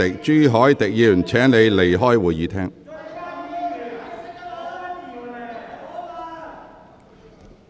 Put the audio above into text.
朱凱廸議員，請你離開會議廳。